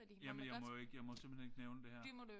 Jamen jeg må ikke jeg må simpelthen ikke nævne det her